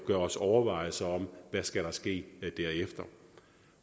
gøre os overvejelser over hvad der skal ske derefter